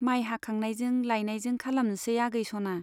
माइ हाखांनायजों लायनायजों खालामनोसै आगै सना ?